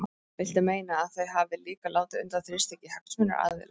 Viltu meina að þau hafi líka látið undan þrýstingi hagsmunaaðila?